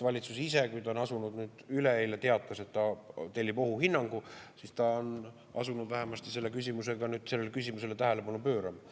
Valitsus ise, kui ta üleeile teatas, et ta tellib ohuhinnangu, on asunud vähemasti sellele küsimusele tähelepanu pöörama.